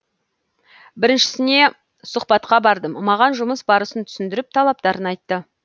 біріншісіне сұхбатқа бардым маған жұмыс барысын түсіндіріп талаптарын айтты